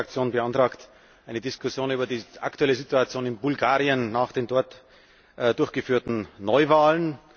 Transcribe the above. Die EVP Fraktion beantragt eine Diskussion über die aktuelle Situation in Bulgarien nach den dort durchgeführten Neuwahlen.